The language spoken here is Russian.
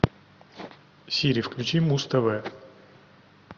сири включи муз тв